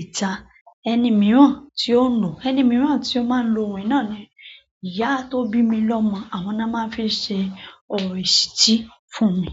ìta. Ẹni mìíràn tí ó lo, ẹni mìíràn tí ó máa ń lo ohun náà ni ìyá tó bí mi lọmọ, àwọn náà máa ń fi ṣe ọrọ ìṣìtí fún mi.